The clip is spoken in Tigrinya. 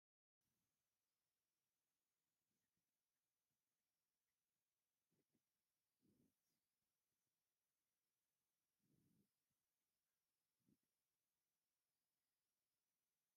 ዋው እዚ ምግቢ ደስ ክብለካ። እዚ ምግቢ እዚ ካብ ልስሉስ ተክሊ ዝስተ ዝተሰርሐን ኣብ እቲ ዝርኡ ድማ ናይ ተምሪ ናይ በናና ንርኢ ኣለና።